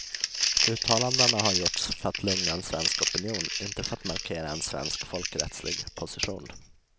Uttalandena har gjorts för att lugna en svensk opinion, inte för att markera en svensk folkrättslig position.